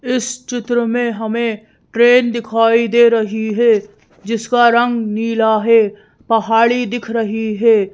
इस चित्र में हमें ट्रेन दिखाई दे रही हे जिसका रंग नीला हे पहाड़ी दिख रही हे।